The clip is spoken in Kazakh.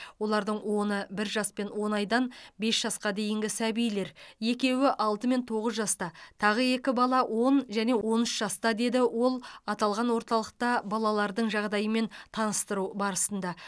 олардың оны бір жас он айдан бес жасқа дейінгі сәбилер екеуі алты мен тоғыз жаста тағы екі бала он және он үш жаста деді ол аталған орталықта балалардың жағдайымен таныстыру барысында